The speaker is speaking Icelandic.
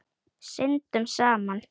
Syndum saman.